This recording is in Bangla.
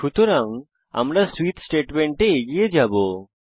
সুতরাং আমরা সুইচ স্টেটমেন্টে এগিয়ে যাবো